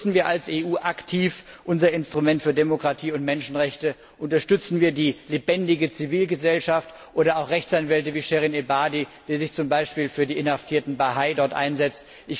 Nutzen wir als EU aktiv unser Instrument für Demokratie und Menschenrechte, unterstützen wir die lebendige Zivilgesellschaft oder auch Rechtsanwälte wie Shirin Ebadi, die sich zum Beispiel für die inhaftierten Bahai dort einsetzt.